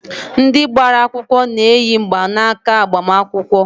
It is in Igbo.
Ndị gbara akwụkwọ na-eyi mgbanaaka agbamakwụkwọ.